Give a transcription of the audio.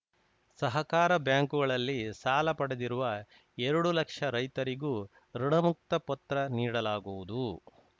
ಸಹಕಾರ ಬ್ಯಾಂಕುಗಳಲ್ಲಿ ಸಾಲ ಪಡೆದಿರುವ ಎರಡು ಲಕ್ಷ ರೈತರಿಗೂ ಋಣಮುಕ್ತ ಪತ್ರ ನೀಡಲಾಗುವುದು